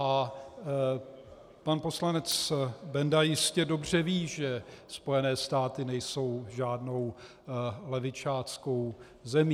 A pan poslanec Benda jistě dobře ví, že Spojené státy nejsou žádnou levičáckou zemí.